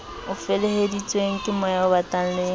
o feleheditsweng kemoya obatang le